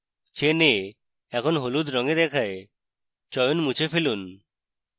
chain a এখন হলুদ রঙে দেখায় চয়ন মুছে ফেলুন